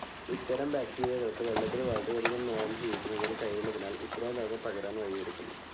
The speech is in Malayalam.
ഇത്തരം ബാക്റ്റീരിയകൾക്ക് വെള്ളത്തിൽ വളരെയധികം നേരം ജീവിക്കുന്നതിന്‌ കഴിവുള്ളതിനാൽ ഇത്തരം രോഗം പകരാൻ വഴിയൊരുക്കുന്നു.